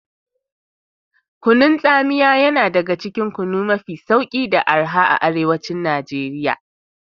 Kunun tsamiya yan daga cikin kunu mafi sauki da araha a arewacin Nigeria.